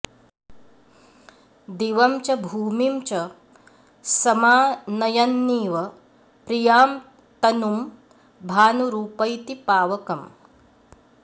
दिवं च भूमिं च समानयन्निव प्रियां तनुं भानुरुपैति पावकम्